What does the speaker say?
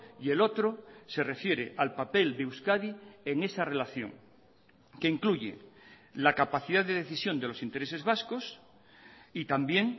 y el otro se refiere al papel de euskadi en esa relación que incluye la capacidad de decisión de los intereses vascos y también